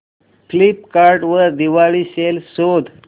Flipkart वर Diwali sale शोधा